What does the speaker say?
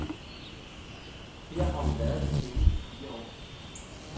Her har hun været de seneste fire år.